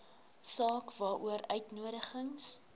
saak waaroor uitnodigings